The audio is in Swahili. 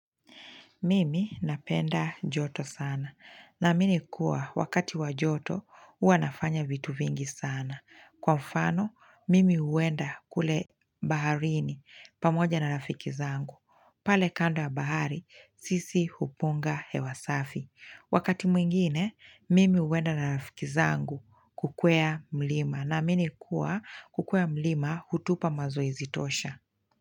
Mimi napenda joto sana naamini kuwa wakati wa joto huwa nafanya vitu vingi sana. Kwa mfano, mimi huenda kule baharini pamoja na rafiki zangu. Pale kando ya bahari, sisi hupunga hewa safi. Wakati mwingine, mimi huenda na rafiki zangu kukwea mlima naamini kuwa kukuwa mlima hutupa mazoezi tosha.